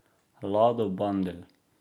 Lado Bandelj.